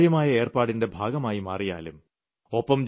ഈ സുതാര്യമായ ഏർപ്പാടിന്റെ ഭാഗമായി മാറിയാലും